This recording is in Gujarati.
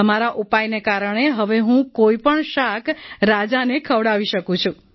તમારા ઉપાયને કારણે હવે હું કોઈપણ શાક રાજાને ખવડાવી શકું છું